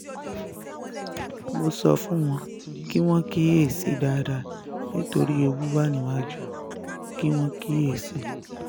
mo sọ fún wo kí wọ́n kíyèsí i dáadáa nítorí ewu wà níwájú kí wọ́n kíyèsí i